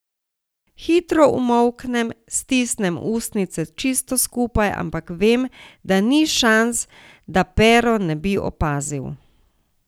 Hitro umolknem, stisnem ustnice čisto skupaj, ampak vem, da ni šans, da Pero ne bi opazil.